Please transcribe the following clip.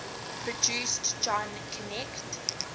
produced john conteh